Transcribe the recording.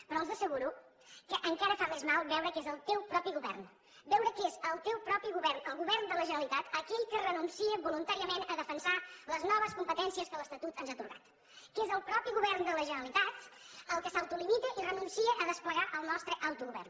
però els asseguro que encara fa més mal veure que és el teu propi govern veure que és el teu propi govern el govern de la generalitat aquell que renuncia voluntàriament a defensar les noves competències que l’estatut ens ha atorgat que és el mateix govern de la generalitat el que s’autolimita i renuncia a desplegar el nostre autogovern